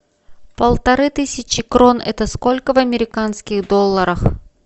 полторы тысячи крон это сколько в американских долларах